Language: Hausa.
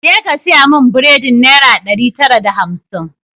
Ja ka saya mun buredin naira ɗari tara da hamsin!